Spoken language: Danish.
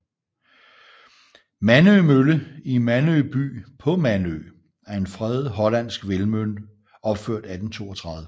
Mandø Mølle i Mandø by på Mandø er en fredet hollandsk vindmølle opført 1832